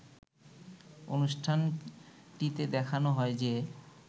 অনুষ্ঠানটিতে দেখানো হয় যে